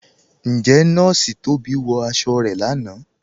Ǹjẹ̀ Nọọ̀ṣì Tóbi wọ aṣọ̀ rẹ̀ láńà?